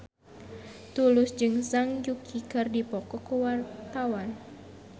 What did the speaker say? Tulus jeung Zhang Yuqi keur dipoto ku wartawan